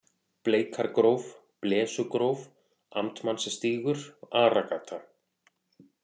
Bleikargróf, Blesugróf, Amtmannsstígur, Aragata